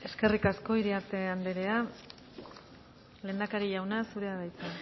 eskerrik asko iriarte andrea lehendakari jauna zurea da hitza